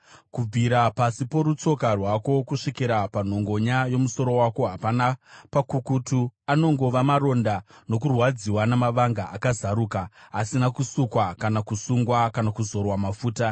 Kubvira pasi porutsoka rwako kusvikira panhongonya yomusoro wako hapana pakukutu, anongova maronda nokurwadziwa namavanga akazaruka, asina kusukwa kana kusungwa kana kuzorwa mafuta.